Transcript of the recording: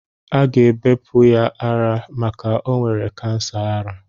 Aga ebepụ ya ara maka o nwere kansa ara.